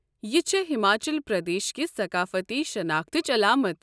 یہِ چھےٚ ہماچل پردیش کہِ ثقافتی شناختٕچ علامتھ ۔